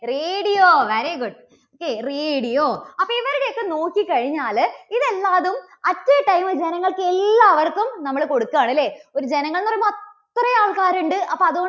radio very good Okay radio അപ്പോൾ ഇവർക്കൊക്കെ നോക്കിക്കഴിഞ്ഞാല് ഇത് എല്ലാതും at a time ൽ ജനങ്ങൾക്ക് എല്ലാവർക്കും നമ്മള് കൊടുക്കുകയാണ് അല്ലേ? ഇപ്പോൾ ജനങ്ങൾ എന്നുപറയുമ്പോൾ അത്രയും ആൾക്കാരുണ്ട് അപ്പോ അത്